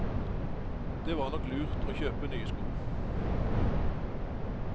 Det var nok lurt og kjøpe nye sko.